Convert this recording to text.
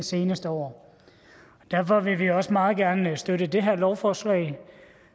seneste år derfor vil vi også meget gerne støtte det her lovforslag